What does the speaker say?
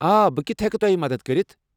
آ، بہٕ کِتھہٕ ہیٚکہٕ تۄہہِ مدتھ کٔرِتھ؟